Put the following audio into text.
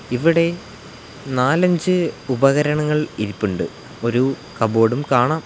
ഇവിടെ നാലഞ്ച് ഉപകരണങ്ങൾ ഇരിപ്പുണ്ട് ഒരു കബോർഡും കാണാം.